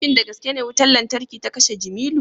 shin da gaske ne wutar lantarki ta kashe Jimilu